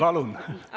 Palun!